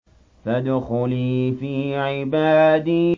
فَادْخُلِي فِي عِبَادِي